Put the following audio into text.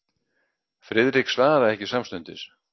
Friðrik svaraði ekki samstundis.